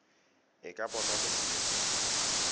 e ka bonwa mo seliping